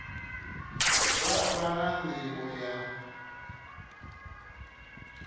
vha vha na nḓivho ya